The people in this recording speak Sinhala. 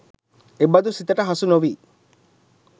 එබඳු සිතට හසු නොවී